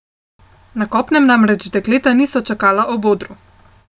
Na kopnem namreč dekleta niso čakala ob odru.